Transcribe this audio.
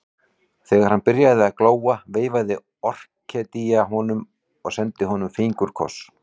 Þegar hann byrjaði að glóa veifaði Orkídea honum og sendi honum fingurkoss.